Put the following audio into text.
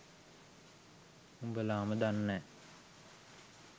උඹලම දන්නෑ